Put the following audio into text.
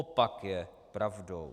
Opak je pravdou.